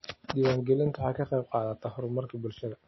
Diiwaangelintu waxay ka qaybqaadataa horumarka bulshada.